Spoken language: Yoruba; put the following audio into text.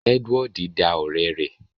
Edward da ọrẹ rẹ